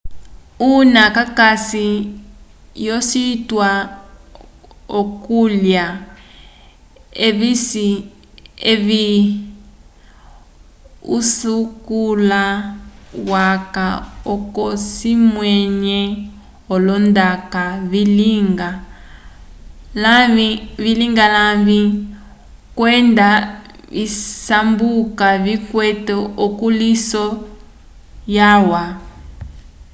una kakasi l'ocituwa c'okulya evi usakuli waca oco cikwamĩwe olondaka vilinga lavĩ kwenda visambuka vikwete ukulĩhiso walwa